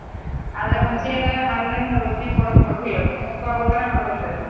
ಆದ್ರ ಹುಣ್ಸೆ ಹಣ್ಣ ಹಣ್ಣಿಂದ ರುಚಿ ಕೊಡೊದ್ ಬಿಡೋದಿಲ್ಲ ಅದನ್ನು ಮುಪ್ಪ ಆಗೊತನ ಬಿಡೋದಿಲ್ರಿ ಅದ.